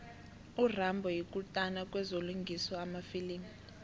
urambo yikutani kwezokulingisa emafilimini